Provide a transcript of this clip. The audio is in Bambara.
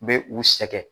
Bɛ u sɛgɛn